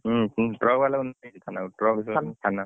ହୁଁ truck ବାଲା କୁ ନେଇଗଲେ ଥାନାକୁ